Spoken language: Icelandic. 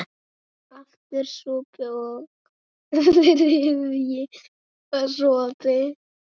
Aftur sopi, og þriðji sopi.